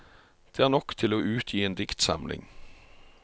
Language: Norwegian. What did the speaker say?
Det er nok til å utgi en diktsamling.